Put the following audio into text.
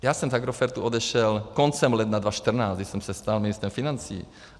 Já jsem z Agrofertu odešel koncem ledna 2014, když jsem se stal ministrem financí.